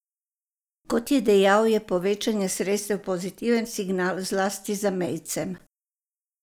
Kot je dejal, je povečanje sredstev pozitiven signal, zlasti zamejcem.